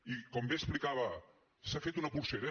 i com bé explicava s’ha fet una polsera